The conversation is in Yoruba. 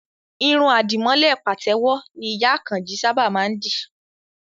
Irun àdìmọ́lẹ̀ pàtẹ́wọ́ ni ìyá Àkànjí sábà má ń dì